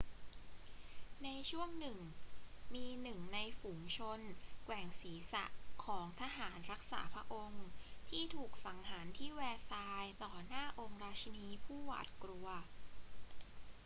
ในช่วงหนึ่งมีหนึ่งในฝูงชนแกว่งศีรษะของทหารรักษาพระองค์ที่ถูกสังหารที่แวร์ซายส์ต่อหน้าองค์ราชินีผู้หวาดกลัว